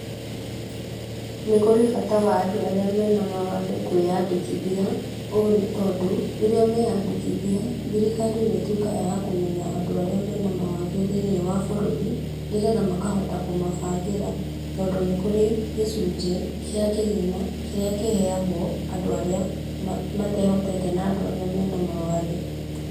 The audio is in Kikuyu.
Nĩ kũrĩ bata wa andũ arĩa mena mawathe kũĩandĩkithia. Ũũ nĩ tondũ rĩrĩa meandĩkithia, thirikari nĩ ĩtuĩkaga ya kũmenya andũ arĩa mena mawathe thĩiniĩ wa bũrũri nĩgetha makahota kũmabangĩra tondũ nĩ kũrĩ gĩcunjĩ kĩa kĩgĩna kĩrĩa kĩheagwo andũ arĩa matehotete na andũ arĩa mena mawathe.